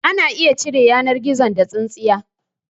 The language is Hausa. Ana iya cire yanar gizogizo da tsintsiya